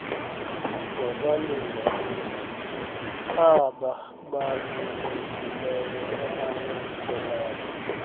wabalinganiswa abaabalulekileyo abayamkelayo